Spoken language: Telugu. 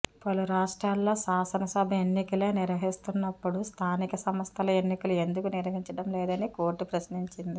పలు రాష్ట్రాల్లో శాసనసభ ఎన్నికలే నిర్వహిస్తున్నప్పుడు స్థానిక సంస్థల ఎన్నికలు ఎందుకు నిర్వహించడం లేదని కోర్టు ప్రశ్నించింది